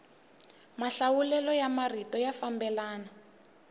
mahlawulelo ya marito ya fambelana